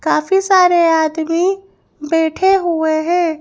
काफी सारे आदमी बैठे हुए हैं।